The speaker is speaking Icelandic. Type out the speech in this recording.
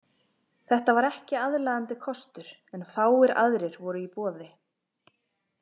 Þetta var ekki aðlaðandi kostur, en fáir aðrir voru í boði.